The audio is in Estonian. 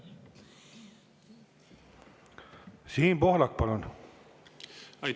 Siim Pohlak, palun!